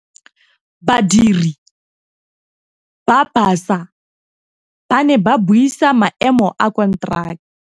Badiri ba baša ba ne ba buisa maêmô a konteraka.